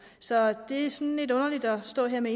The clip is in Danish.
så det er sådan lidt underligt at stå her med